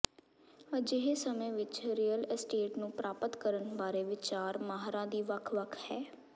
ਅਜਿਹੇ ਸਮੇਂ ਵਿੱਚ ਰੀਅਲ ਅਸਟੇਟ ਨੂੰ ਪ੍ਰਾਪਤ ਕਰਨ ਬਾਰੇ ਵਿਚਾਰ ਮਾਹਰਾਂ ਦੀ ਵੱਖ ਵੱਖ ਹੈ